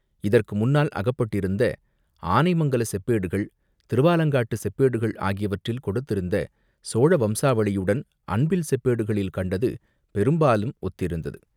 இதற்கு முன்னால் அகப்பட்டிருந்த ஆனைமங்கலச் செப்பேடுகள், திருவாலங்காட்டுச் செப்பேடுகள், ஆகியவற்றில் கொடுத்திருந்த சோழ வம்சாவளியுடன் அன்பில் செப்பேடுகளில் கண்டது பெரும்பாலும் ஒத்திருந்தது.